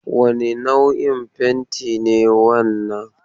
Wane nau'in fentin ne wannan?